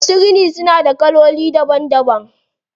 Masu rini suna da kaloli daban daban.